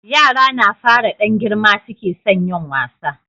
yara na fara Dan girma suke son yin wasa